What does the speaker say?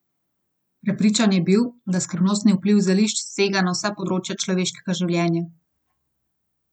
Prepričan je bil, da skrivnostni vpliv zelišč sega na vsa področja človeškega življenja.